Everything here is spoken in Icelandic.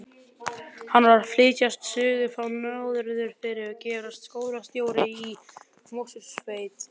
Hann var að flytjast suður frá Norðfirði og gerast skólastjóri í Mosfellssveit.